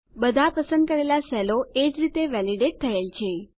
બધા પસંદ કરેલા સેલો એ જ રીતે વેલીડેટ થયેલ છે